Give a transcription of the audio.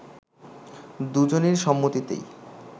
দুজনের সম্মতিতেই